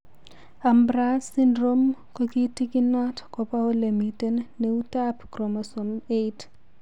Ambras syndrome kotikinot kopa ole miten neutap chromosome 8.